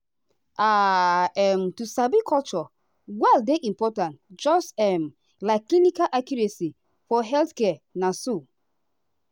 um um to sabi culture well dey important just um like clinical accuracy for healthcare na so.